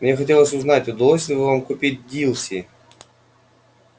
мне хотелось узнать удалось ли вам купить дилси